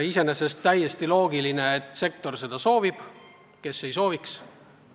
Iseenesest täiesti loogiline, et sektor seda soovib – kes ei sooviks?